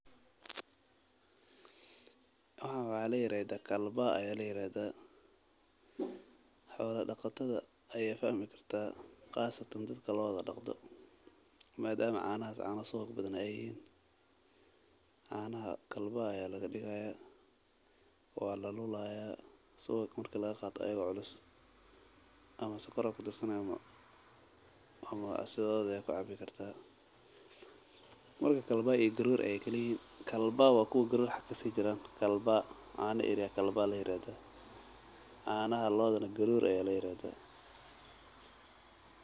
Waxaan waxa layiraxdha kalbaa aya layiraxdha, xola daqatadha aya fahmi kartaa, qasatan dadka loodha daqto, maadamu canaxas cana suwag badhan ay xiyiin, canaxa kalbaa aya laqadiqayaa, wa lalulayaa, suwaq marki lagaqato ayago culus ama sukor aya kudarsani ama sidhodhi aya kucabikartaa, marka kalbaa iyo garor ayay kalayixiin, kalbaa wa kuwa garor xag kasijiraan, kalbaa cana erii aya kalbaa layiraxdha, canaxa loodhanax garor aya layiraxdha.